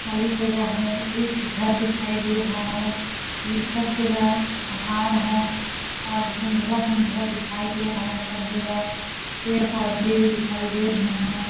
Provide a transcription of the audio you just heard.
खाली जगह है एक घर दिखाई दे रहा है ये सब जगह पहाड़ है और धुंदला- धुंदला दिखाई दे रहा है सब जगह पेड़ -पौधे दिखाई दे रहॆ हैं।